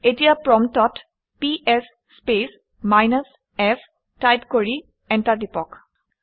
এতিয়া প্ৰম্পটত PS space minus f type কৰি এণ্টাৰ টিপক